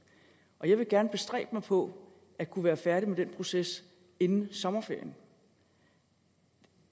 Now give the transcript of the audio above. jeg vil gerne bestræbe mig på at kunne være færdig med den proces inden sommerferien